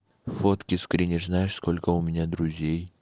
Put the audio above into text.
фотки скринишь знаешь сколько у меня друзей